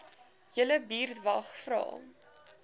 julle buurtwag vra